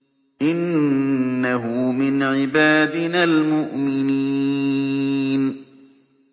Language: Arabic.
إِنَّهُ مِنْ عِبَادِنَا الْمُؤْمِنِينَ